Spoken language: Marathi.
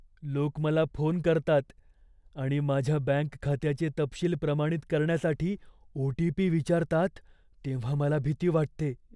लोक मला फोन करतात आणि माझ्या बँक खात्याचे तपशील प्रमाणित करण्यासाठी ओ. टी. पी. विचारतात तेव्हा मला भीती वाटते.